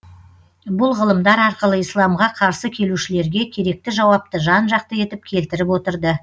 бұл ғылымдар арқылы исламға қарсы келушілерге керекті жауапты жан жақты етіп келтіріп отырды